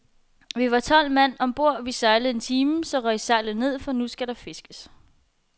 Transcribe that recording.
Vi var tolv mand om bord, vi sejlede en time, så røg sejlet ned, for nu skal der fiskes.